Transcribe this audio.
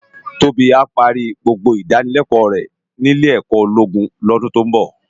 Tobi á pàri gbógbó idánilèkò rè ni ilé èkò ólógún lòdún tó n bò